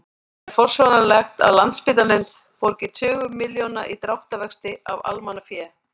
En er forsvaranlegt að Landspítalinn borgi tugi milljóna í dráttarvexti af almannafé?